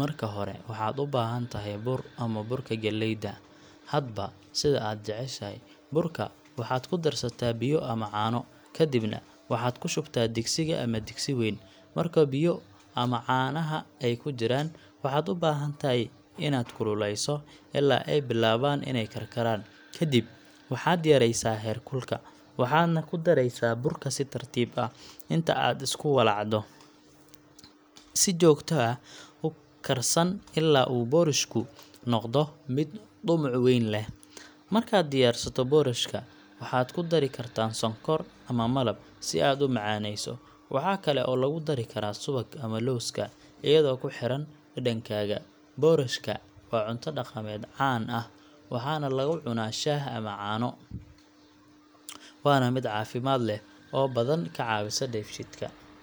marka hore waxaad u baahan tahay bur ama burka galleyda, hadba sida aad jeceshahay. Burka waxaad ku darsataa biyo ama caano, kadibna waxaad ku shubtaa digsiga ama digsi weyn. Marka biyo ama caanaha ay ku jiraan, waxaad u baahan tahay inaad kululeyso ilaa ay bilaabaan inay karkaraan. Kadib, waxaad yareysaa heerkulka, waxaadna ku daraysaa burka si tartiib ah. Inta aad isku walacdo, si joogto ah u karsan ilaa uu boorashku noqdo mid dhumuc weyn leh. Markaad diyaarsato boorashka, waxaad ku dari kartaa sonkor ama malab si aad u macaaneyso. Waxa kale oo lagu dari karaa subag ama lowska, iyadoo ku xiran dhadhankaaga. Boorashka waa cunto dhaqameed caan ah, waxaana lagu cunaa shaah ama caano, waana mid caafimaad leh oo badan ka caawisa dheefshiidka.